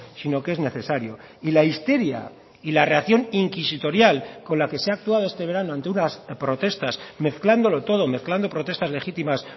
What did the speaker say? sino que es necesario y la histeria y la reacción inquisitorial con la que se ha actuado este verano ante unas protestas mezclándolo todo mezclando protestas legítimas